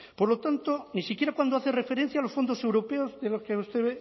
por lo tanto ni siquiera cuando hace referencia a los fondos europeos de los que usted